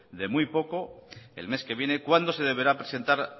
de muy poco el mes que viene cuando se deberá presentar